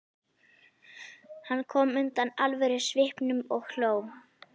Hann kom undan alvörusvipnum og hló.